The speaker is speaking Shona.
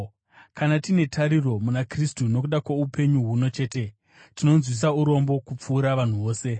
Kana tine tariro muna Kristu nokuda kwoupenyu huno chete, tinonzwisa urombo kupfuura vanhu vose.